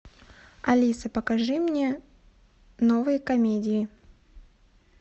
алиса покажи мне новые комедии